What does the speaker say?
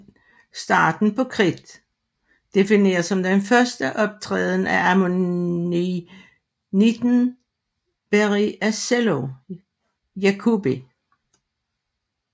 Starten på Kridt defineres som den første optræden af ammonitten Berriasella jacobi